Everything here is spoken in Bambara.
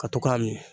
Ka to k'a min